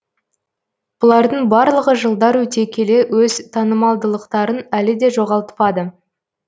бұлардың барлығы жылдар өте келе өз танымалдылықтарын әлі де жоғалтпады